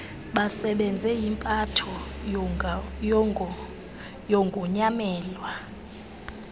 basebenze yimpatho yogonyamelo